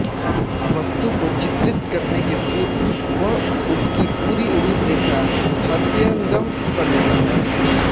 वस्तु को चित्रित करने के पूर्व वह उसकी पूरी रूपरेखा हृदयंगम कर लेता था